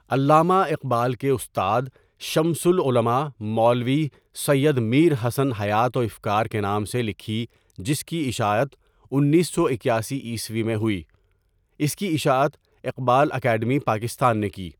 علامه اقبال کے استاد شمس العلماء مولوى سيد میر حسن حیات و افکار کے نام سے لکھی جس کی اشاعت انیس سو اکیاسی عیسوی میں ہوئی، اس کی اشاعت اقبال اکادمی پاکستان نے کی.